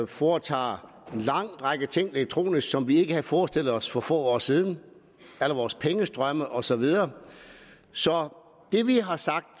foretager en lang række ting elektronisk som vi ikke havde forestillet os for få år siden alle vores pengestrømme og så videre så det vi har sagt